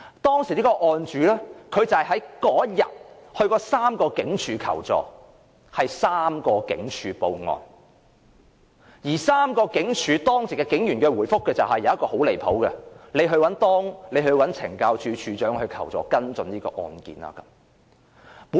當時的案主在當天曾到3間警署求助，是3間警署報案，而3間警署當值警員的回覆中，其中一個很過分，就是叫他找懲教署署長求助，跟進這宗案件。